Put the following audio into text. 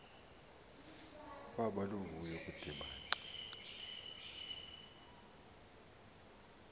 kwaba luvuyo ukudibana